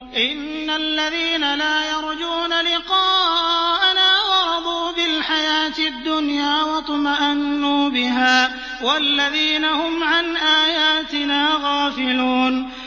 إِنَّ الَّذِينَ لَا يَرْجُونَ لِقَاءَنَا وَرَضُوا بِالْحَيَاةِ الدُّنْيَا وَاطْمَأَنُّوا بِهَا وَالَّذِينَ هُمْ عَنْ آيَاتِنَا غَافِلُونَ